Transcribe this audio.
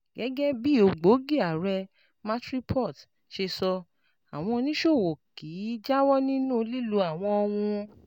Gẹ́gẹ́ bí ògbógi ààrẹ Matrixport ṣe sọ, àwọn oníṣòwò kì í jáwọ́ nínú lílo àwọn ohun